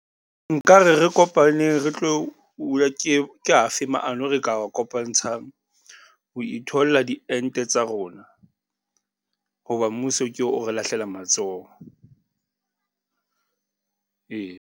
Nka re re kopaneng re tlo , ke a fe maano e re ka a kopantshang ho itholla diente tsa rona, ho ba mmuso ke oo o re lahlela matsoho, ee.